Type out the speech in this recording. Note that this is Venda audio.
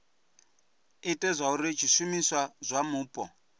ite zwauri zwishumiswa zwa mupo